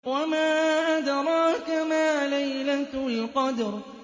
وَمَا أَدْرَاكَ مَا لَيْلَةُ الْقَدْرِ